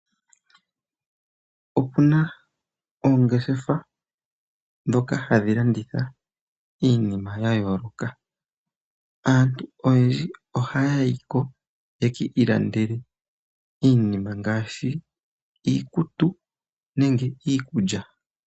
Opuna oongeshefa dhoka hadhilanditha iinima yayooloka. Aantu oyendji ohaayiko yekiilandele iinima ngaashi iikutu nenge iikulya.